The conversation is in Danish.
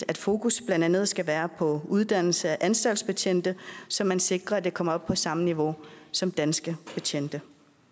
at fokus blandt andet skal være på uddannelse af anstaltsbetjente så man sikrer at den kommer op på samme niveau som danske betjentes